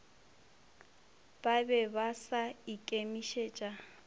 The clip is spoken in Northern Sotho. ba be ba sa ikemišetša